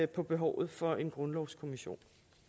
på behovet for en grundlovskommission